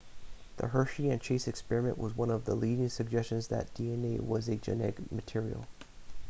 the hershey and chase experiment was one of the leading suggestions that dna was a genetic material